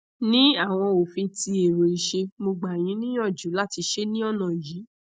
ni awọn ofin ti ero iṣe mogba yin niyanju lati ṣe ni ona yi